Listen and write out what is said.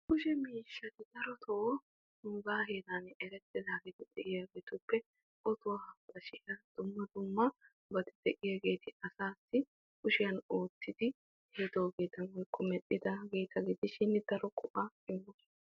Kushe miishshatti nu heeran ottoy, bashee hiillanchchay medhdhidoogetta gidishin asatti daro go'aa immosonna.